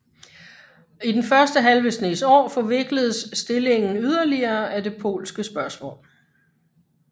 I den første halve snes år forvikledes stillingen yderligere af det polske spørgsmål